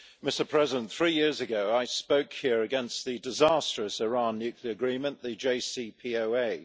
Mr President, three years ago I spoke here against the disastrous Iran nuclear agreement, the JCPOA.